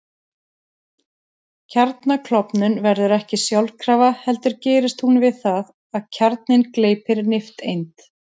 Kjarnaklofnun verður ekki sjálfkrafa heldur gerist hún við það að kjarninn gleypir nifteind.